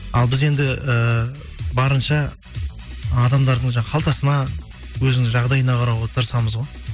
ал біз енді ііі барынша адамдардың жаңағы қалтасына өзінің жағдайына қарауға тырысамыз ғой